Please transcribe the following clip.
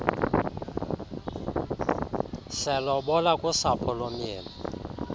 selobola kusapho lomyeni